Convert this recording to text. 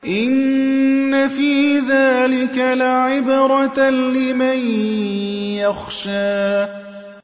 إِنَّ فِي ذَٰلِكَ لَعِبْرَةً لِّمَن يَخْشَىٰ